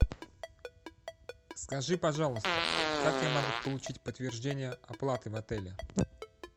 скажи пожалуйста как я могу получить подтверждение оплаты в отеле